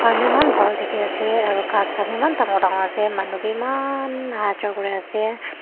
manu eman bhal dekhi asa aru ghas khan eman dangor dangor ase manu vi eman ahajua kuri ase.